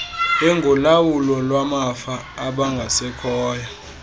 engolawulo lwamafa abangasekhoyo